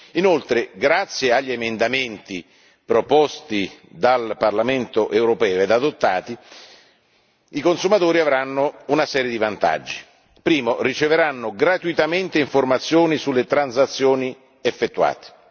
Inoltre, grazie agli emendamenti proposti dal Parlamento europeo ed adottati i consumatori avranno una serie di vantaggi primo, riceveranno gratuitamente informazioni sulle transazioni effettuate